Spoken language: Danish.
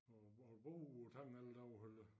Hvor hvor har du boet på tangen eller derovre eller